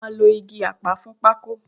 Wọ́n máa lo igi apá fún pákó